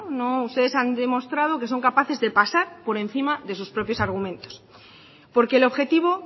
ustedes han demostrado que son capaces de pasar por encima de sus propios argumentos porque el objetivo